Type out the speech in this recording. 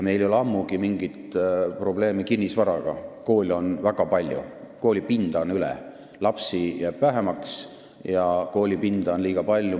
Meil ei ole ammugi mingit probleemi kinnisvaraga: koole on väga palju, koolipinda on üle, lapsi jääb vähemaks ja koolipinda on liiga palju.